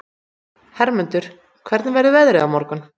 Hermundur, hvernig verður veðrið á morgun?